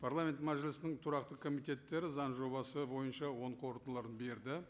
парламент мәжілісінің тұрақты комитеттері заң жобасы бойынша оң қорытындыларын берді